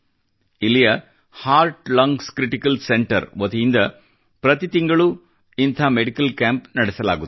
ಇಲ್ಲಿಯ heart lungs critical centre ವತಿಯಿಂದ ಪ್ರತಿ ತಿಂಗಳು ಇಂಥ ಮೆಡಿಕಲ್ ಕ್ಯಾಂಪ್ ನಡೆಸಲಾಗುತ್ತದೆ